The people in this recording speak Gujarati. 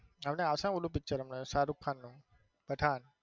હમણાં આવશે ઓલું picture હમને શાહરુખ ખાન નું પઠાણ.